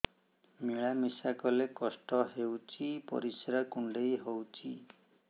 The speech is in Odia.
ମିଳା ମିଶା କଲେ କଷ୍ଟ ହେଉଚି ପରିସ୍ରା କୁଣ୍ଡେଇ ହଉଚି